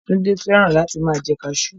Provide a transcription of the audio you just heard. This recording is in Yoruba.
Túndé fẹ́ràn láti máa jẹ kaasú